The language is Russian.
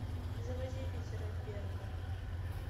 заводи питера берга